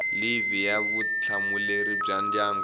livhi ya vutihlamuleri bya ndyangu